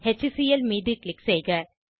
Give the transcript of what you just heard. HCL மீது click செய்க